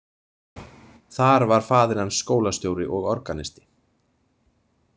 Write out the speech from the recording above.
Þar var faðir hans skólastjóri og organisti.